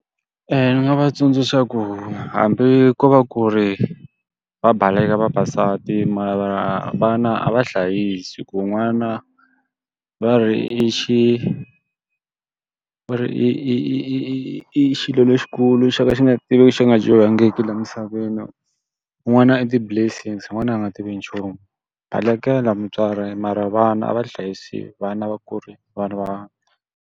ni nga va tsundzuxa ku hambi ko va ku ri va baleka vavasati mara vana a va hlayisi. Hikuva n'wana va ri i xi va ri i i i i i i xilo lexikulu xo ka xi nga tivi xo ka xi nga dyohangiki laha misaveni. N'wana i ti-blessings, n'wana a nga tivi nchumu. Balekela mutswari mara vana a va hlayisiwe, vana va ku ri vana va.